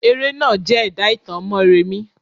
Eré náà jẹ́ ẹ̀dà ìtàn Mọ́remí.